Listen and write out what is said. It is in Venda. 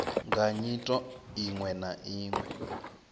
nga nyito iwe na iwe